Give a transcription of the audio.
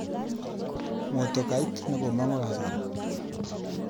Motokait nekomang'u kasari